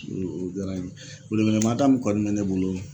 O o diyara n ye, wele wele mada min kɔni bɛ ne bolo